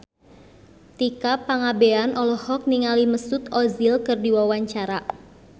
Tika Pangabean olohok ningali Mesut Ozil keur diwawancara